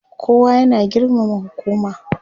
kowa ya na girmama hukuma